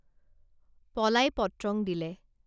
পলাই পত্রং দিলে